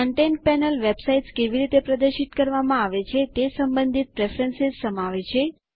content panel websites કેવી રીતે પ્રદર્શિત કરવામાં આવે છે તે સંબંધિત પ્રેફરન્સ સમાવે છે